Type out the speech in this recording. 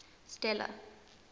stella